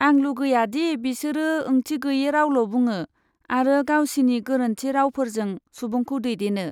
आं लुगैया दि बिसोरो ओंथिगोयै रावल' बुङो आरो गावसिनि गोरोन्थि रावफोरजों सुबुंखौ दैदेनो।